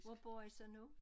Hvor bor i så nu?